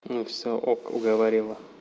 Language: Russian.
ну всё ок уговорила